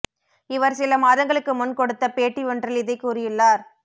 இவர் சில மாதங்களுக்கு முன் கொடுத்த பேட்டி ஒன்றில் இதை கூறியுள்ளார்